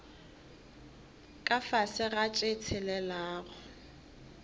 ka fase ga tše tshelelago